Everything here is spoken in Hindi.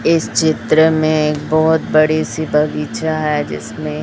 इस चित्र में एक बहोत बड़ी सी बगीचा है जिसमें--